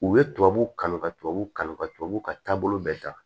U ye tubabu kanu ka tubabuw kanu ka tubabuw ka taabolo bɛɛ da